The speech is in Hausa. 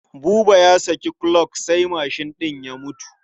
Buba ya saki kuloc sai mashin ɗin ya mutu.